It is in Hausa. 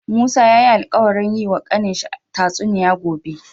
Musa yayi alkawarin yi wa kanin shi ta tsuniya gobe